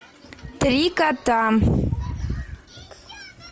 три кота